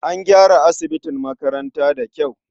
An gyara asibin makaranta da kyau.